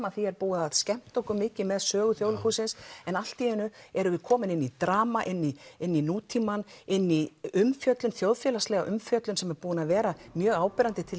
að því var búið að skemmta okkur mikið með sögu Þjóðleikhússins en allt í einu erum við komin inn í drama inn í inn í nútímann inn í umfjöllun þjóðfélagslega umfjöllun sem er búin að vera mjög áberandi til